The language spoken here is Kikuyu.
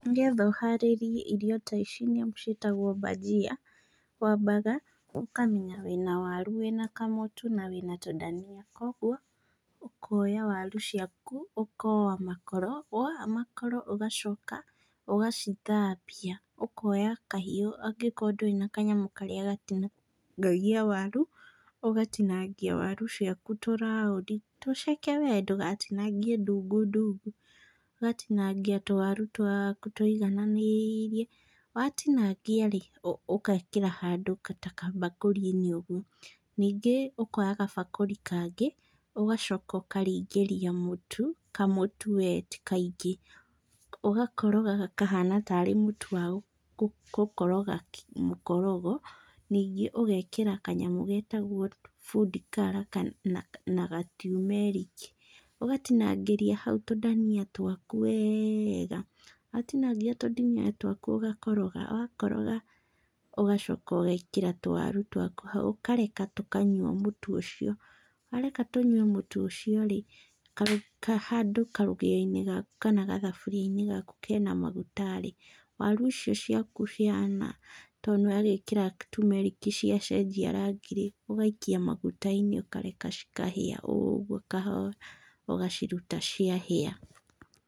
Nĩgetha ũharĩrie irio ta ici nyamũ ciĩtagwo bhagia, wambaga ũkamenya wĩna waru, wĩna kamũtu na wĩna tũdania. Kuoguo ũkoya waru ciaku ũkoa makoro, woa makoro ũgacoka ũgacithambia. Ũkoya kahiũ angĩkorwo ndũrĩ na kanyamũ karĩa gatinangagia waru, ũgatinangia awaru ciaku tũ round i tũceke wee, ndũgatinangie ndungu ndungu. Ũgatinangia tũwaru twaaku tũigananĩiire. Watinangia-rĩ, ũgekĩra handũ ta kambakũri-inĩ ũguo. Ningĩ ũkoya gabakũri kangĩ ũgacoka ũkaringĩria mũtu, kamũtu wee ti kaingĩ, ũgakoroga gakahana tarĩ mũtu wa gũkoroga mũkorogo. Ningĩ ũgekĩra kanyamũ getagwo food color kana na ga tumeric i, ũgatinangĩria hau tũdania twaku weega. Watinangia tũdania twaku ũgakoroga, wakoroga ũgacoka ũgekĩra tũwaru twaku hau, ũkareka tũkanyua mũtu ũcio. Wareka tũnyue mũtu ũcio-rĩ, handũ karũgĩo-inĩ gaku kana gathaburia-inĩ gaku kena maguta-rĩ, waru icio ciaku cihana tondũ nĩwagĩkĩra tumeric i cia cenjia rangi-rĩ, ũgaikia maguta-inĩ ũkareka cikahĩa ũguo kahoora, ũgaciruta ciahĩa.